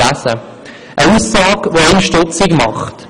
Dies eine Aussage, die einen stutzig macht.